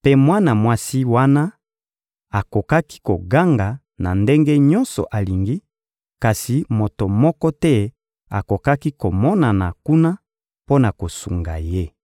mpe mwana mwasi wana akokaki koganga na ndenge nyonso alingi, kasi moto moko te akokaki komonana kuna mpo na kosunga ye.